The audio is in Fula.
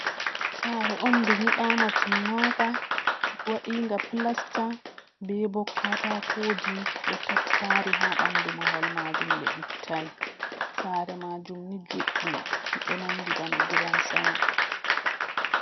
Sare on ndu nyibama timmaka, wadinga plasta be bo katakoji ɗo tattari ha bandu mahol majum be ittai, sare majum ni judɗum, ɗo nanɗi bana gidan sama.